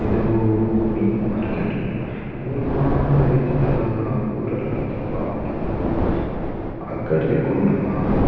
ಇಂದು ಮೀನ್ ದ ಮಾರ್ಕೆಟ್ ಮೂಲು ಮಾತ ರೀತಿದಲ ಪೂರಲ ಮೀನ್ ತಿಕ್ಕುಂಡು ಆಂಡ ಮೂಲು ಅಗ್ಗಡ್ ತಿಕ್ಕುಂಡು ನಮ.